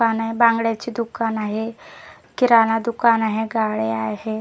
पान आहे बांगड्याचे दुकान आहे किराणा दुकान आहे गाळे आहे.